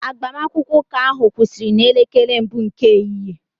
Agbamakwụkwọ ụka ahụ kwụsịrị n'elekere mbụ nke ehihie